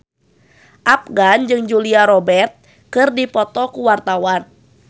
Afgan jeung Julia Robert keur dipoto ku wartawan